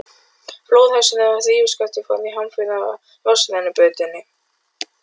Flóðhesturinn og hrífuskaftið fóru hamförum í vatnsrennibrautinni.